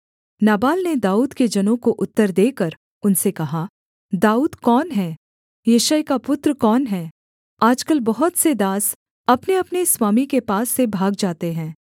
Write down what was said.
नाबाल ने दाऊद के जनों को उत्तर देकर उनसे कहा दाऊद कौन है यिशै का पुत्र कौन है आजकल बहुत से दास अपनेअपने स्वामी के पास से भाग जाते हैं